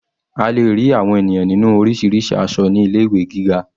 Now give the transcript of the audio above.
A lè rí àwọn ènìyàn ní orísirísi aṣọ ní ilé ìwé gíga.